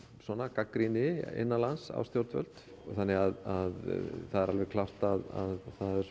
gagnrýni innanlands á stjórnvöld þannig að það er alveg klárt að